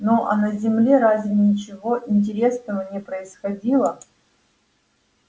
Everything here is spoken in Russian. ну а на земле разве ничего интересного не происходило